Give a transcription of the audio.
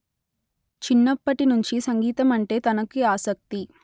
చిన్నప్పటి నుంచి సంగీతమంటే తనకి ఆసక్తి